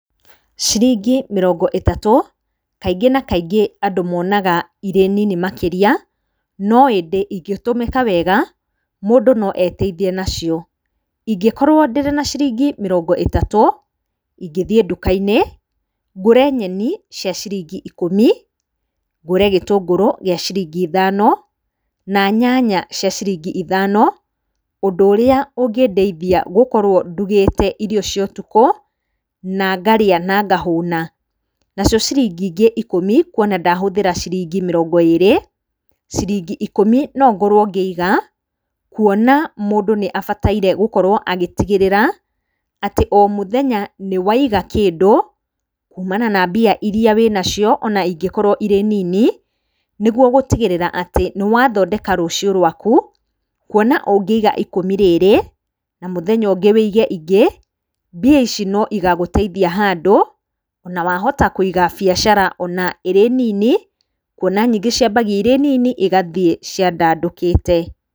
Ciringi mĩrongo ĩtatũ, kaingĩ na kaingĩ andũ monaga irĩ nini makĩria, no ĩndĩ ingĩtũmĩka wega, mũndũ noeteithie nacio. Ingĩkorwo ndĩ na ciringi mĩrongo ĩtatũ, ngũthiĩ nduka-inĩ, ngũre nyeni cia ciringi ikũmi, ngũre gĩtũnguru gĩa ciringi ithano, na nyanya cia ciringi ithano, ũndũ ũrĩa ũngĩndeithia gũkorwo ndugĩte irio cia ũtukũ, na ngarĩa na ngahũna. Nacio ciringi ingĩ ikũmi, kuona ndahũthĩra ciringi mĩrongo ĩri, ciringi ikũmi no ngorwo ngĩiga, kuona mũndũ nĩ abataire gũkorwo agĩtigĩrĩra atĩ o mũthenya nĩ waiga kĩndũ, kumana na mbia iria wĩnacio ona ingĩkorwo irĩ nini, nĩguo gũtigĩrĩra atĩ nĩ wathondeka rũcio rwaku, kuona ũngĩiga ikũmi rĩrĩ, na mũthenya ũngĩ wĩige ingĩ, mbia ici no igagũteithia handũ, na wahota kũiga biacara ona irĩ nini, kuona nyingĩ ciambagia irĩ nini, igathiĩ ciandandũkĩte.